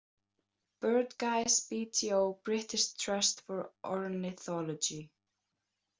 Birdguides BTO- British Trust for Ornithology